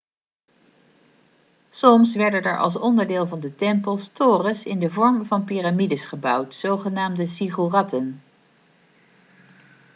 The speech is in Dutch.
soms werden er als onderdeel van de tempels torens in de vorm van piramides gebouwd genaamd ziggoeratten